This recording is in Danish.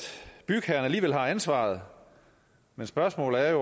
bygherren alligevel har ansvaret men spørgsmålet er